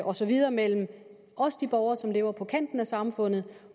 og så videre mellem også de borgere som lever på kanten af samfundet